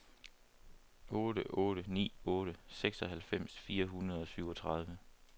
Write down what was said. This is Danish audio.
otte otte ni otte seksoghalvfems fire hundrede og syvogtredive